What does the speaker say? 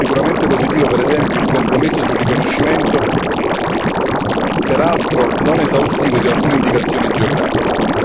È sicuramente positivo, per esempio, il compromesso sul riconoscimento peraltro non esaustivo di alcune indicazioni geografiche.